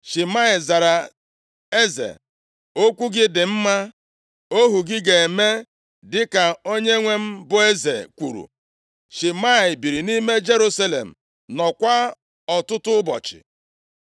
Shimei zara eze, “Okwu gị dị mma. Ohu gị ga-eme dịka onyenwe m bụ eze kwuru.” Shimei biiri nʼime Jerusalem, nọọkwa ọtụtụ ụbọchị.